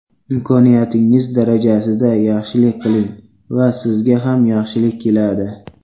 Imkoniyatingiz darajasida yaxshilik qiling va sizga ham yaxshilik keladi.